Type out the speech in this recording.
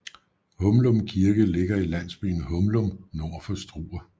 Humlum Kirke ligger i landsbyen Humlum nord for Struer